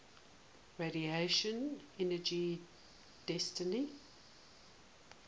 radiation energy density